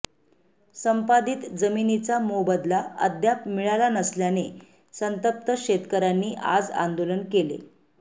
संपादित जमिनीचा मोबदला अद्याप मिळाला नसल्याने संतप्त शेतकऱ्यांनी आज आंदोलन केले